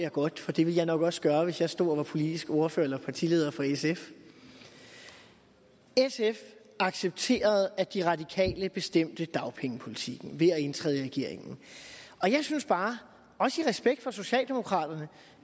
jeg godt for det ville jeg nok også gøre hvis jeg stod og var politisk ordfører eller partileder for sf sf accepterede at de radikale bestemte dagpengepolitikken ved at indtræde i regeringen og jeg synes bare også i respekt for socialdemokraterne